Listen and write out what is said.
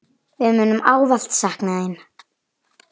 Við munum ávallt sakna þín.